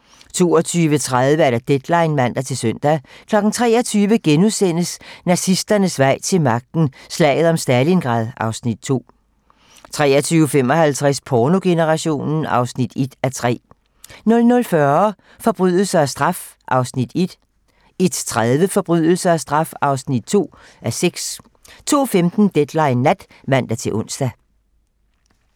22:30: Deadline (man-søn) 23:00: Nazisternes vej til magten: Slaget om Stalingrad (Afs. 2)* 23:55: Pornogenerationen (1:3) 00:40: Forbrydelse og straf (1:6) 01:30: Forbrydelse og straf (2:6) 02:15: Deadline nat (man-ons)